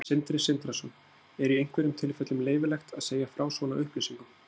Sindri Sindrason: Er í einhverjum tilfellum leyfilegt að segja frá svona upplýsingum?